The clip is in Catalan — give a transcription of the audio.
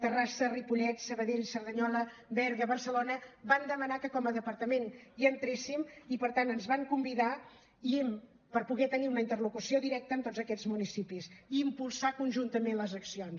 terrassa ripollet sabadell cerdanyola berga barcelona van demanar que com a departament hi entréssim i per tant ens van convidar per poder tenir una interlocució directa amb tots aquests municipis i impulsar conjuntament les accions